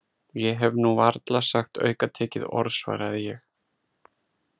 Ég hef nú varla sagt aukatekið orð svaraði ég.